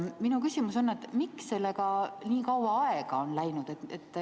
Minu küsimus on, miks sellega nii kaua aega on läinud.